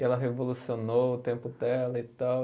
E ela revolucionou o tempo dela e tal.